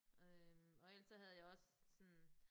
Øh og ellers så havde jeg også sådan